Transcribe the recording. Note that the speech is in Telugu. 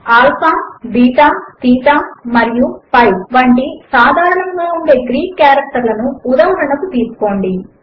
ఆల్ఫా బీటా తీటా మరియు పై వంటి సాధారణముగా ఉండే గ్రీక్ కారెక్టర్లను ఉదాహరణకు తీసుకోండి